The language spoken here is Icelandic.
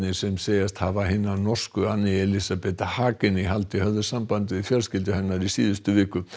sem segjast hafa hina norsku Anne Elísabet Hagen í haldi höfðu samband við fjölskyldu hennar í síðustu viku